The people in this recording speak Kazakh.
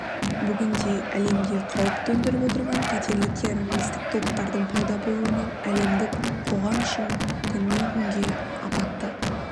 бүгінде әлемде қауіп төндіріп отырған қатерлі террористік топтардың пайда болуынан әлемдік қоғам үшін күннен күнге аппатты